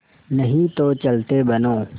नहीं तो चलते बनो